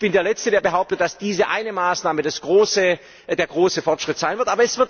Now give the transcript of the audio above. Ich bin der Letzte, der behauptet, dass diese eine Maßnahme der große Fortschritt sein wird.